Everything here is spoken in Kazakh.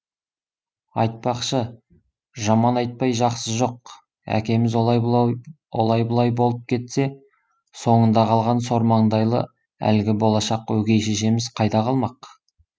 айтпақшы жаман айтпай жақсы жоқ әкеміз олай бұлай болып кетсе соңында қалған сормаңдайлы әлгі болашақ өгей шешеміз қайда қалмақ